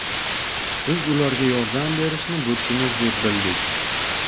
biz ularga yordam berishni burchimiz deb bildik.